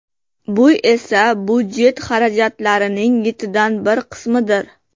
Bu esa budjet xarajatlarining yettidan bir qismidir.